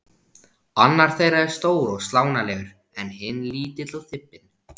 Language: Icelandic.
Annar þeirra er stór og slánalegur en hinn lítill og þybbinn.